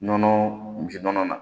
Nɔnɔ bin nɔnɔ na